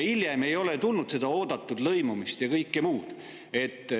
Hiljem ei ole tulnud seda oodatud lõimumist ja kõike muud.